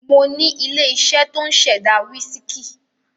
Mo ní ilé-iṣẹ́ tó ń ṣẹ̀dá wísíkì.